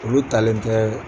Olu talen kɛ